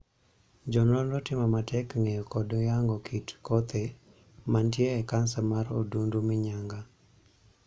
Jo nonro timo matek ng'eyo kod yango kit kothe mantie e kansa mar odundu minyaga.